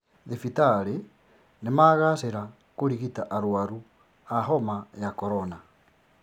Thibitari nĩmagacĩra kũrigita arwaru a homa ya korona